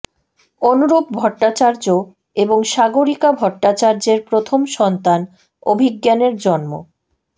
অনুরুপ ভট্টাচার্য এবং সাগরিকা ভট্টাচার্যের প্রথম সন্তান অভিজ্ঞানের জন্ম